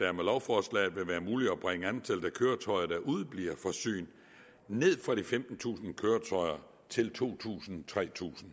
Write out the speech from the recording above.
med lovforslaget vil være muligt at bringe antallet af køretøjer der udebliver fra syn ned fra de femtentusind køretøjer til to tusind tre tusind